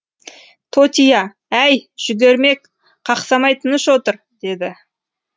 тотия әй жүгермек қақсамай тыныш отыр деді